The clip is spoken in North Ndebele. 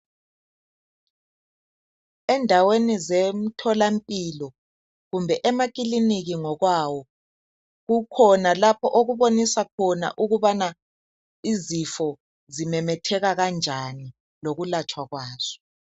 Endaweni zemtholampilo kumbe emakiliniki ngokwawo kukhona lapho okubonisa khona ukubana izifo zimemetheka kanjani lokulatshwa kwazo.